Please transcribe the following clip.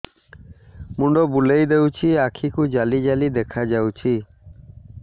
ମୁଣ୍ଡ ବୁଲେଇ ଦେଉଛି ଆଖି କୁ ଜାଲି ଜାଲି ଦେଖା ଯାଉଛି